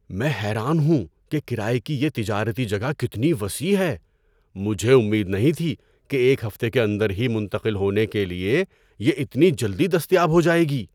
میں حیران ہوں کہ کرایہ کی یہ تجارتی جگہ کتنی وسیع ہے۔ مجھے امید نہیں تھی کہ ایک ہفتے کے اندر ہی منتقل ہونے کے لیے یہ اتنی جلدی دستیاب ہو جائے گی!